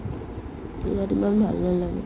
town ত ইমান ভাল নালাগে